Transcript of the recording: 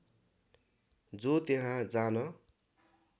जो त्यहाँ जान